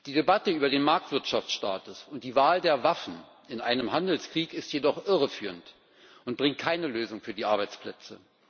Die Debatte über den Marktwirtschaftsstatus und die Wahl der Waffen in einem Handelskrieg ist jedoch irreführend und bringt keine Lösung für die Arbeitsplätze.